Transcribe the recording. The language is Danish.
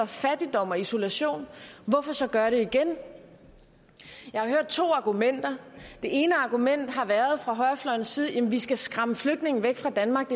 fattigdom og isolation hvorfor så gøre det igen jeg har hørt to argumenter det ene argument fra højrefløjens side jamen vi skal skræmme flygtningene væk fra danmark